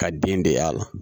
Ka den de y'a la